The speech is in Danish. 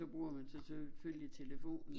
Så bruger man så selvfølgelig telefonen